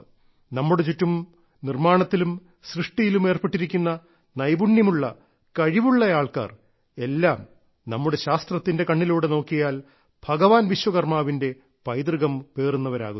നമ്മുടെ ചുറ്റും നിർമ്മാണത്തിലും സൃഷ്ടിയിലും ഏർപ്പെട്ടിരിക്കുന്ന നൈപുണ്യമുള്ള കഴിവുള്ള ആൾക്കാർ എല്ലാം നമ്മുടെ ശാസ്ത്രത്തിന്റെ കണ്ണിലൂടെ നോക്കിയാൽ ഭഗവാൻ വിശ്വകർമ്മാവിന്റെ പൈതൃകം പേറുന്നവരാകുന്നു